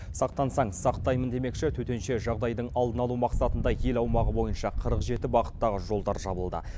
сақтансаң сақтаймын демекші төтенше жағдайдың алдын алу мақсатында ел аумағы бойынша қырық жеті бағыттағы жолдар жабылды